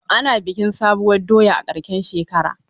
Ana bikin sabuwar doya a karshen shekara.